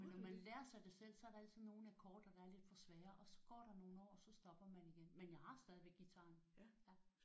Når man lærer sig det selv er der altid nogle akkorder der er lidt for svære og så går der nogle år så stopper man igen. Men jeg har stadigvæk guitaren